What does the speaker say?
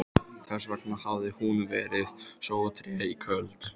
Þessvegna hafði hún verið svo treg í kvöld.